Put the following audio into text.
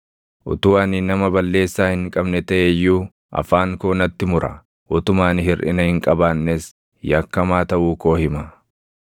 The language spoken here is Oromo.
Utuu ani nama balleessaa hin qabne taʼe iyyuu afaan koo natti mura; utuma ani hirʼina hin qabaannes yakkamaa taʼuu koo hima.